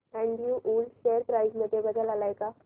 Andrew Yule share price मध्ये बदल आलाय का